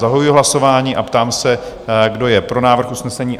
Zahajuji hlasování a ptám se, kdo je pro návrh usnesení?